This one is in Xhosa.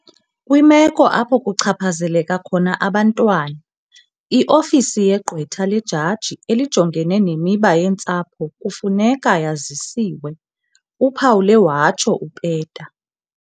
"Kwimeko apho kuchaphazeleka khona abantwana, i-Ofisi yeGqwetha leJaji eliJongene neMiba yeeNtsapho kufuneka yazisiwe," uphawule watsho uPeta.